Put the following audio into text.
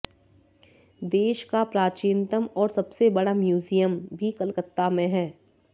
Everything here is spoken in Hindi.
देश का प्राचीनतम और सबसे बड़ा म्यूजियम भी कलकत्ता में हैं